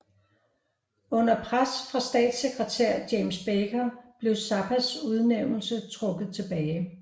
Under pres fra statssekretær James Baker blev Zappas udnævnelse trukket tilbage